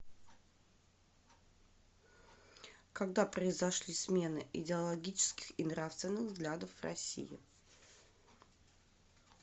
когда произошли смены идеологических и нравственных взглядов в россии